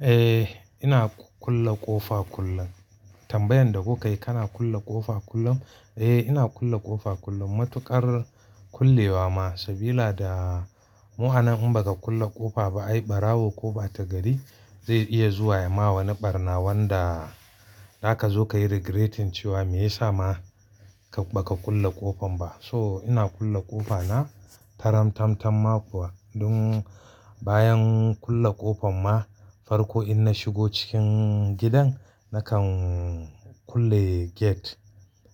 Eh, ina kulle ƙofa kullum. Tambayan da kuka yi kana kulle ƙofa kullum? Eh, ina kulle ƙofa kullum matuƙar kullewa ma, sabila da mu'anan in baka kulle ƙofa ba ai ɓarawo ko ɓata gari zai iya zuwa ya ma wani ɓarna wanda zaka zo ka yi regretting cewa me yasa ma ka ba ka kulle ƙofan ba. So ina kulle ƙofa na taram-tam-tam ma kuwa. Dun bayan kulle ƙofan ma, farko in na shigo cikin gidan nakan kulle gate.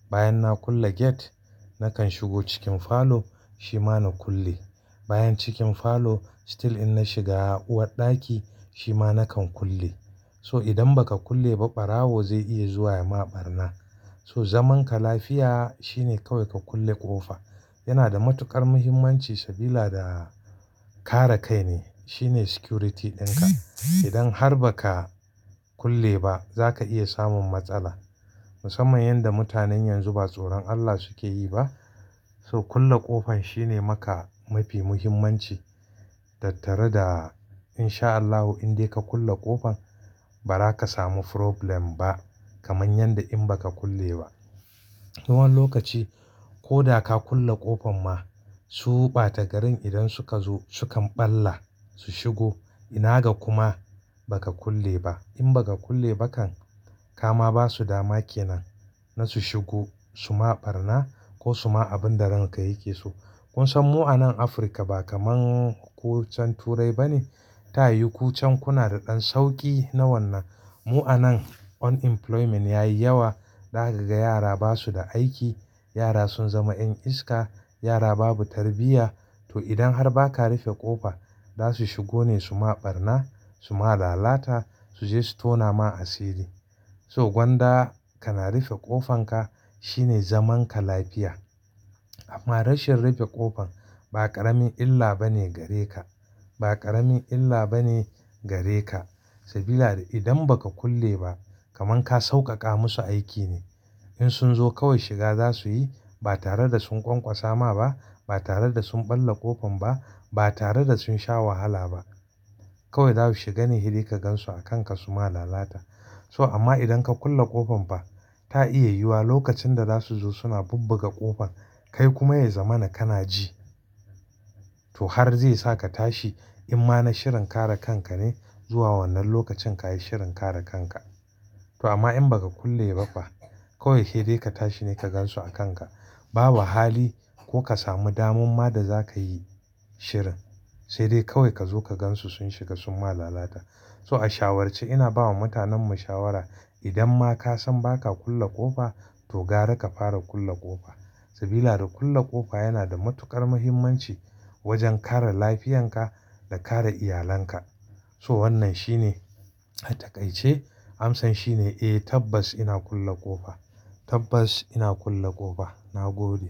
Bayan na kulle gate, nakan shigo cikin falo shi ma na kulle. Bayan cikin falo still in na shiga uwarɗaki shi ma nakan kulle. So idan baka kulle ba ɓarawo zai iya zuwa ya ma ɓarna. So zaman ka lafiya shine kawai ka kulle ƙofa. Yana da matuƙar muhimmanci sabida kare kai ne. Shine security ɗinka. Idan har baka kulle ba zaka iya samun matsala. Musamman yanda mutanen yanzu ba tsoron Allah suke yi ba. So kulle ƙofan shine maka mafi muhimmanci. Tarda in sha Allahu in dai ka kulle ƙofan ba zaka samu problem ba kamar yanda in baka kulle ba. Wani lokaci ko da ka kulle ƙofan ma su ɓata garin idan suka zo sukan ɓalla su shigo. Ina ga kuma baka kulle ba. In baka kulle ba kan kama basu dama kenan na su shigo su ma ɓarna ko su ma abin da ran ka yake so. Kun san mu'anan Afirka ba kaman ku can Turai ba ne. Ta yiwu ku can kuna da ɗan sauƙi na wannan. Mu'anan unemployment yayi yawa. Ɗaka ga yara basu da aiki. Yara sun zama 'yan iska. Yara babu tarbiyya. To idan har baka rufe ƙofa za su shigo ne su ma ɓarna, su ma lalata su je su tona ma asiri. So gwanda kana rufe ƙofan ka shine zaman ka lafiya. Amma rashin rufe ƙofan ba ƙaramin illa bane gare ka, ba ƙaramin illa bane gare ka. Sabida idan baka kulle ba kaman ka sauƙaƙa musu aiki ne. In sun zo kawai shiga za su yi. Ba tare da sun ƙwanƙwasa ma ba, ba tare da sun ɓalla ƙofan ba, ba tare da sun sha wahala ba. Kawai za su shiga ne hedai ka gan su a kan ka su ma lalata. So amma idan ka kulle ƙofan fa ta iya yiwuwa lokacin da za su zo suna bubbuga ƙofan kai kuma ya zama na kana ji. To har zai sa ka tashi. Imma na shirin kare kan ka ne zuwa wannan lokacin ka yi shirin kare kan ka. To amma in baka kulle ba fa kawai hedai ka tashi ne ka gan su a kan ka. Babu hali ko ka samu damu daman ma da zakayi shirin. Sai dai kawai ka zo ka gan su sun shiga sun ma lalata. So a shawarce ina bawa mutanen mu shawara idan ma ka san baka kulle ƙofa to gara ka fara kulle ƙofa. Sabila da kulle ƙofa yana da matuƙar muhimmanci wajen kare lafiyan ka da kare iyalan ka. So wannan shine ataƙaice amsan shine, eh tabbas ina kulle ƙofa. Tabbas ina kulle ƙofa. Na gode.